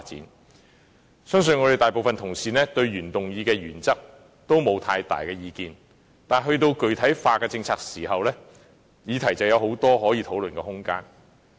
我相信大部分同事對原議案的原則也沒有太大的異議，但說到具體政策，便有很多可以討論的空間。